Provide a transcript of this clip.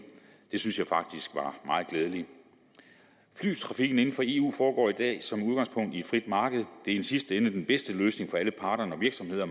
det synes jeg faktisk var meget glædeligt flytrafikken inden for eu foregår i dag som udgangspunkt på et frit marked det er i sidste ende den bedste løsning for alle parter når virksomheder og